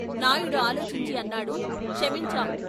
నాయుడు ఆలోచించి అన్నాడు " క్షమించాం.